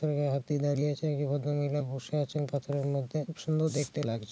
হাত দিয়ে দাঁড়িয়ে আছে। একটি ভদ্রমহিলা বসে আছেন পাথরের মধ্যে। সুন্দর দেখতে লাগছে।